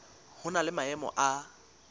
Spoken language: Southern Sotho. ho na le maemo a